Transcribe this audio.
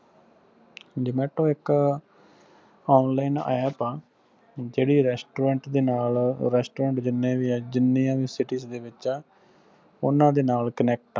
zomato ਇੱਕ online app ਆ ਜਿਹੜੀ restaurant ਦੇ ਨਾਲ restaurant ਜਿੰਨੇ ਵੀ ਆ ਜਿੰਨੀਆਂ ਵੀ city ਦੇ ਵਿੱਚ ਆ ਉਹਨਾਂ ਦੇ ਨਾਲ connect ਆ